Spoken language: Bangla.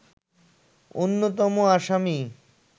অন্যতম আসামী